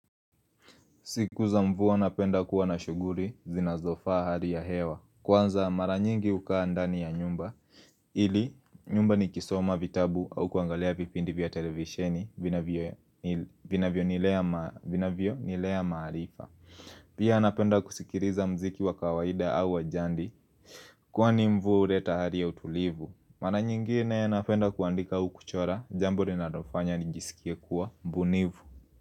Sikuza mvua napenda kuwa na shughuri zinazofaa hali ya hewa. Kwanza maranyingi hukaa ndani ya nyumba. Ili nyumba ni kisoma vitabu au kuangalia vipindi vya televisheni vina vio ni vinavyo nilea ma vinavyonilea maarifa. Pia napenda kusikiriza mziki wa kawaida au wa njandi kwani mvua huleta hali ya utulivu. Maranyingine napenda kuandika au kuchora jambo rinarofanya nijiskie kuwa mbunivu.